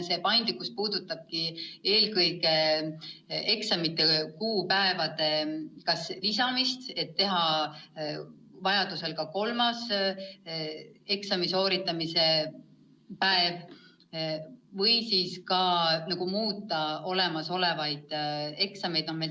See paindlikkus puudutab eelkõige eksamite kuupäevade lisamist, et määrata vajaduse korral ka kolmas eksami sooritamise päev, aga ka võimlust muuta olemasolevaid eksamid.